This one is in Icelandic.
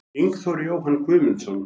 Ingþór Jóhann Guðmundsson